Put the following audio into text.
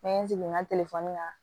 N'an ye sigi n ka la